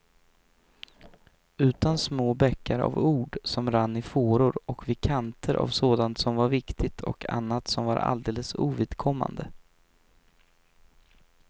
Utan små bäckar av ord som rann i fåror och vid kanter av sånt som var viktigt och annat som var alldeles ovidkommande.